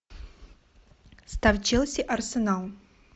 ставь челси арсенал